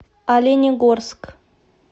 оленегорск